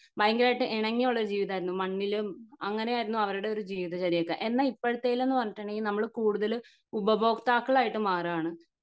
ഭയങ്കരയിട്ട് ഇണങ്ങി ഉള്ള ജീവിതം ആയിരുന്നു മണ്ണിലും അങ്ങിനെ ആയിരുന്നു അവരുടെ ഒരു ജീവിത ചര്യത എന്നാ ഇപ്പൊഴത്തേൽ ന്ന് പറഞ്ഞിട്ടുണ്ടെങ്കിൽ നമ്മൾ കൂടുതൽ ഉപഭോക്താക്കളായിട്ട് മാറാണ്